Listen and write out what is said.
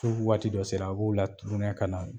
waati dɔ sera a b'o ka na